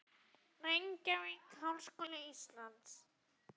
Reykjavík: Háskóli Íslands.